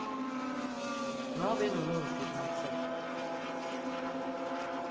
nobe ngumuphi umtsetfo